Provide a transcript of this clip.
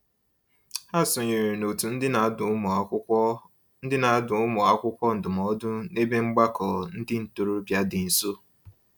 Ha sonyeere n'òtù ndị na-adụ ụmụakwụkwọ ndị na-adụ ụmụakwụkwọ ndụmọdụ n'ebe mgbakọ ndị ntorobịa dị nso.